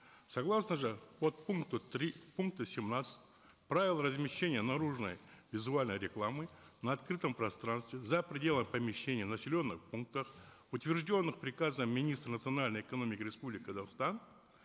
согласно же подпункту три пункта семнадцать правил размещения наружной визуальной рекламы на открытом пространстве за пределами помещения в населенных пунктах утвержденных приказом министра национальной экономики республики казахстан